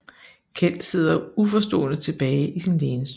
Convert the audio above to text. Keld sidder uforstående tilbage i sin lænestol